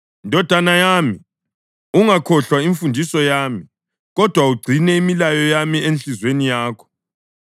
Ndodana yami, ungakhohlwa imfundiso yami, kodwa ugcine imilayo yami enhliziyweni yakho,